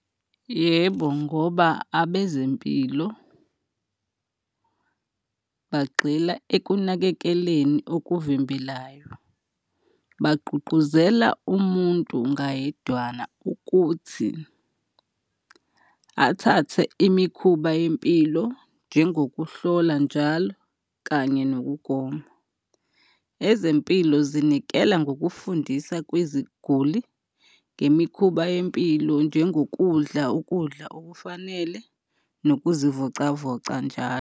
Yebo, ngoba abezempilo bagxila ekunakekeleni okuvimbelayo, bagqugquzela umuntu ngayedwana ukuthi athathe imikhuba yempilo njengokuhlola njalo kanye nokugoma. Ezempilo zinikela ngokufundisa kweziguli ngemikhuba yempilo njengokudla ukudla okufanele nokuzivocavoca njalo.